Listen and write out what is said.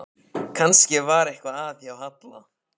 Kannski var eitthvað að hjá Halla.